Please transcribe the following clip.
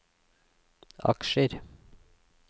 aksjer